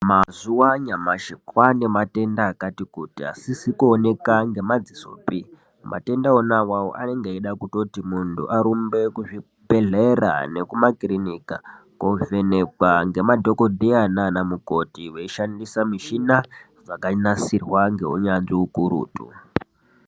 Mazuva anyamashi kwaane matenda akati kuti asizi kuoneka ngemadzisopi, matenda ona awawo anenge eitoda kuti muntu arumbe kuzvibhedhlera nekumakirinika, kovhenekwa ngemadhogodheya nanamukoti veishandisa mishina dzakanasirwa ngeunyanzvi ukurutu.